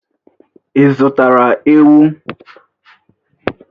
Ị zụtara ewu?